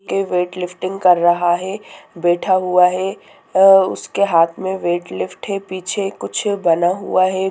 ये weight lifting कर रहा है बैठा हुआ है और उसके हाथ में वेट लिफ्ट है पीछे कुछ बना हुआ है।